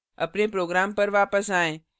अपने program पर वापस आएँ